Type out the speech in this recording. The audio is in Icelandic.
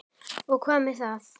Og hvað með það!